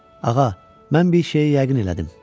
Ağa, mən bir şeyi yəqin elədim.